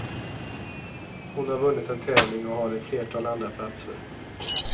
Hon har vunnit en tävling och har ett flertal andraplatser.